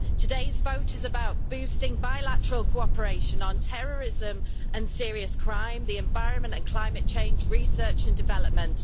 Today's vote is about boosting bilateral cooperation on terrorism and serious crime, the environment and climate change, research and development